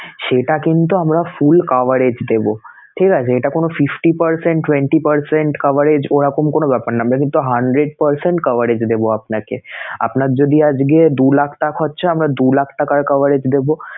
সেটা কিন্তু আমরা full coverage দেবো ঠিক আছে? এটা কোন fifty percent, twenty percent coverage ওরকম কোন ব্যাপার না, আমরা কিন্তু hundred percent coverage দেবো আপনাকে আপনার যদি আজকে দু লাখ টা~ হচ্ছে আমরা দু লাখ টাকার coverage দেবো